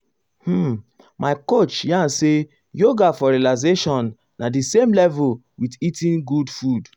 um my coach yarn say yoga for relaxation na the same level with eating good food.